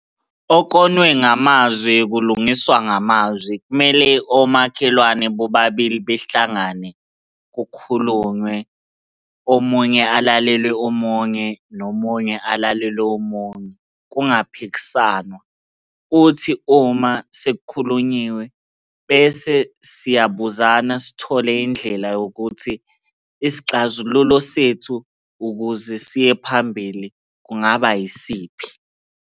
Okonwe ngamazwi, kulungiswa ngamazwi. Kumele omakhelwane bobabili behlangane kukhulunywe. Omunye alalele omunye, nomunye alalele omunye, kungaphikisanwa, kuthi uma sekukhulunyiwe bese siyabuzana sithole indlela yokuthi isixazululo sethu ukuze siye phambili kungaba yisiphi.